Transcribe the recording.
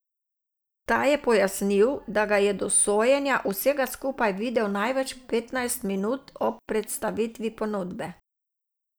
Ta je pojasnil, da ga je do sojenja vsega skupaj videl največ petnajst minut ob predstavitvi ponudbe.